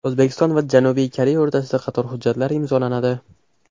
O‘zbekiston va Janubiy Koreya o‘rtasida qator hujjatlar imzolanadi.